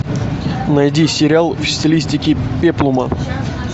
найди сериал в стилистике пеплума